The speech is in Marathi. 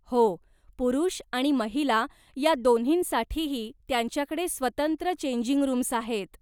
हो, पुरूष आणि महिला या दोन्हींसाठीही त्यांच्याकडे स्वतंत्र चेंजिंग रूम्स आहेत.